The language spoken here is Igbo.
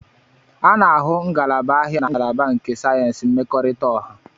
A na-ahụ ngalaba ahịa na ngalaba nke sayensị mmekọrịta ọha.